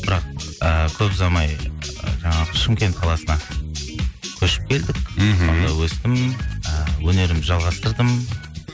бірақ ы көп ұзамай жаңағы шымкент қаласына көшіп келдік мхм сонда өстім ііі өнерімді жалғастырдым